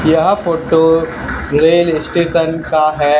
यह photo rail station का है।